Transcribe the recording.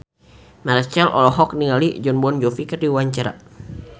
Marchell olohok ningali Jon Bon Jovi keur diwawancara